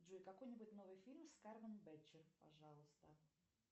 джой какой нибудь новый фильм с кармен бетчер пожалуйста